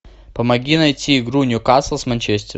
помоги найти игру ньюкасл с манчестер